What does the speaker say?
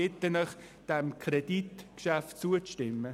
Ich bitte Sie, diesem Kreditgeschäft zuzustimmen.